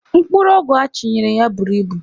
Mkpụrụ ọgwụ achịnyere ya buru ibu.